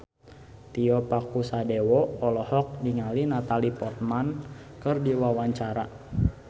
Tio Pakusadewo olohok ningali Natalie Portman keur diwawancara